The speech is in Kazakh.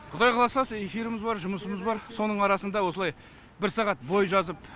құдай қаласа сол эфиріміз бар жұмысымыз бар соның арасында осылай бір сағат бой жазып